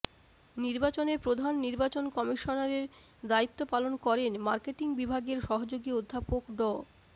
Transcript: নির্বাচনে প্রধান নির্বাচন কমিশনারের দায়িত্ব পালন করেন মার্কেটিং বিভাগের সহযোগী অধ্যাপক ড